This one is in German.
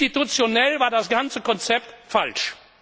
Institutionell war das ganze Konzept falsch.